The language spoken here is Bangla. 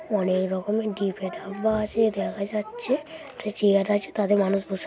অনেক রকমের দেখা যাচ্ছে একটা চেয়ার আছে তাতে মানুষ বসে--